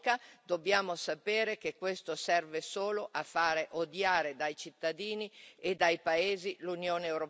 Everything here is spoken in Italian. Dobbiamo sapere che questo serve solo a fare odiare dai cittadini e dai paesi l'Unione europea.